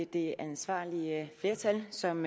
det ansvarlige flertal som